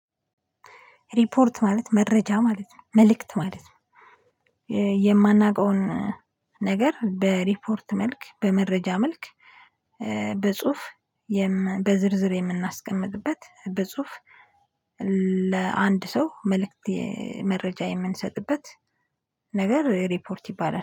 ሪፖርት ማለት መረጃ ማለት ነው መልእክት ማለት ነው። የማናውቀውን ነገር በሪፖርት መልክ በመረጃ መልክ። በጽሁፍ በዝርዝር የምናስቀምጥበት በጽሁፍ። ለአንድ ሰው መልእክት መረጃ የምንሰጥበት ነገር ሪፖርት ይባላል